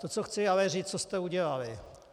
To co chci ale říci, co jste udělali.